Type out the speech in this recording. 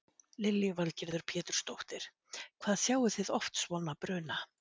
Lillý Valgerður Pétursdóttir: Hvað sjáið þið oft svona bruna?